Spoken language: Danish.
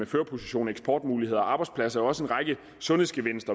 førerposition eksportmuligheder og arbejdspladser også en sundhedsgevinst